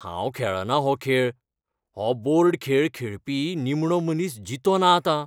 हांव खेळना हो खेळ . हो बोर्ड खेळ खेळ खेळपी निमणो मनीस जितो ना आतां.